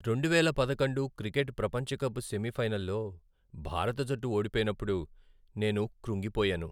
రెండువేల పదకొండు క్రికెట్ ప్రపంచ కప్ సెమీఫైనల్లో భారత జట్టు ఓడిపోయినప్పుడు నేను కృంగిపోయాను.